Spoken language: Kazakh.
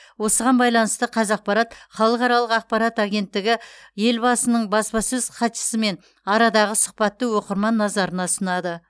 осыған байланысты қазақпарат халықаралық ақпарат агенттігі елбасының баспасөз хатшысымен арадағы сұхбатты оқырман назарына ұсынады